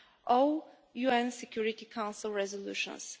all UN Security Council resolutions